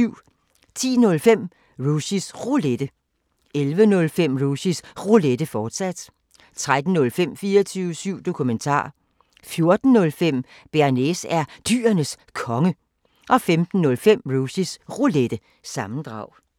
10:05: Rushys Roulette 11:05: Rushys Roulette, fortsat 13:05: 24syv Dokumentar 14:05: Bearnaise er Dyrenes Konge 05:05: Rushys Roulette – sammendrag